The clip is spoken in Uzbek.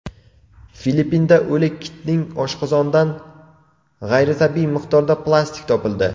Filippinda o‘lik kitning oshqozonidan g‘ayritabiiy miqdorda plastik topildi.